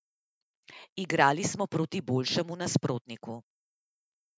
Igrali smo proti boljšemu nasprotniku.